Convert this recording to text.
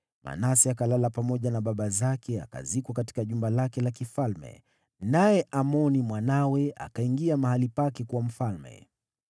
Manase akalala pamoja na baba zake akazikwa katika jumba lake la kifalme. Naye Amoni mwanawe akawa mfalme baada yake.